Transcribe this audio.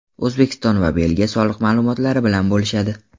O‘zbekiston va Belgiya soliq ma’lumotlari bilan bo‘lishadi.